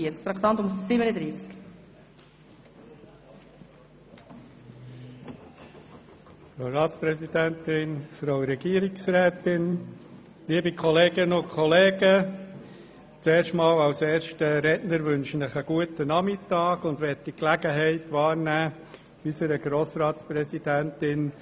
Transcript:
Als erster Redner wünsche ich Ihnen zuerst einen guten Nachmittag und möchte die Gelegenheit nutzen, unserer Grossratspräsidentin